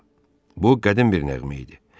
Bu qədim bir nəğmə idi.